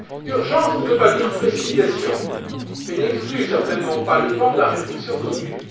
Urgence ne veut pas dire précipitation et n'exclut certainement pas le temps de la réflexion commune.